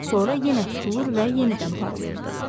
Sonra yenə tutulur və yenidən parlayır.